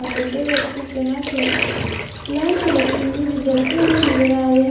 यहां पर दो व्यक्ति के हाथ में लैंप रखी हुई जो जलते हुए नजर आ रहे हैं।